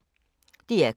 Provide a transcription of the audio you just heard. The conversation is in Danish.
DR K